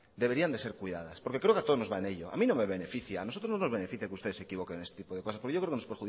deberían ser cuidadas porque creo que a todos nos va en ello a mí no me beneficia a nosotros no nos beneficia que ustedes se equivoquen en este tipo de cosas porque yo creo que nos